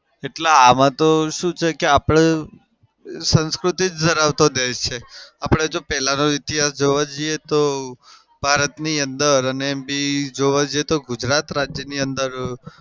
એટલે આમાં તો શું છે કે આપડે સંસ્કૃતિ જ ધરાવતો દેશ છે. આપડે જો પેલાનો ઈતિહાસ જોવા જઈએ તો ભારતની અંદર અને એમ બી જોવા જઈએ તો ગુજરાત રાજ્યની અંદર